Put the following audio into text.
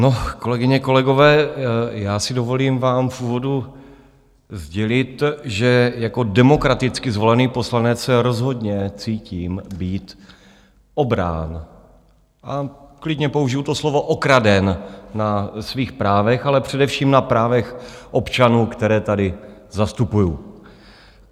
No, kolegyně, kolegové, já si dovolím vám v úvodu sdělit, že jako demokraticky zvolený poslanec se rozhodně cítím být obrán, a klidně použiji to slovo, okraden na svých právech, ale především na právech občanů, které tady zastupuji.